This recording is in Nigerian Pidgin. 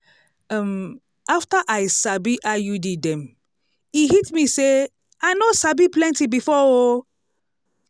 um after i sabi iud dem e hit me say i noh sabi plenty before o!